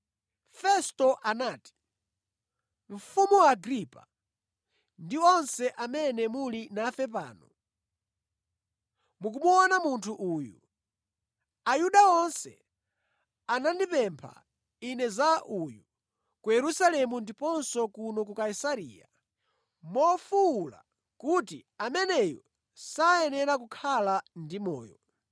Festo anati, “Mfumu Agripa, ndi onse amene muli nafe pano, mukumuona munthu uyu! Ayuda onse anandipempha ine za uyu ku Yerusalemu ndiponso kuno ku Kaisareya, mofuwula kuti, ameneyu sayenera kukhala ndi moyo.